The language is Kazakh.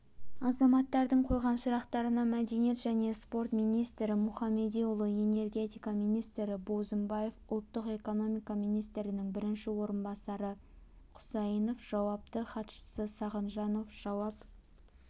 азаматтардың қойған сұрақтарына мәдениет және спорт министрі мұхамедиұлы энергетика министрі бозымбаев ұлттық экономика министрінің бірінші орынбасары құсайынов жауапты хатшысы сағыновжауап